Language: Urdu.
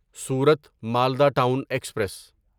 صورت مالدہ ٹون ایکسپریس